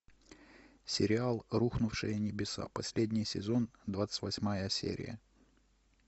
сериал рухнувшие небеса последний сезон двадцать восьмая серия